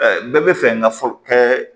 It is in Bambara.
bɛɛ bɛ fɛ n ka fɔ kɛ